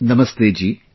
Namaste Ji